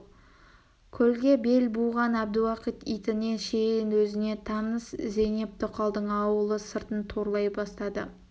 келге бел буған әбдіуақит итіне шейін өзіне таныс зейнеп тоқалдың ауылы сыртын торлай бастады